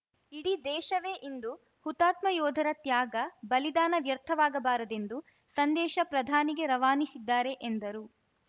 ಇಡೀ ದೇಶವೇ ಇಂದು ಹುತಾತ್ಮ ಯೋಧರ ತ್ಯಾಗ ಬಲಿದಾನ ವ್ಯರ್ಥವಾಗಬಾರದೆಂದು ಸಂದೇಶ ಪ್ರಧಾನಿಗೆ ರವಾನಿಸಿದ್ದಾರೆ ಎಂದರು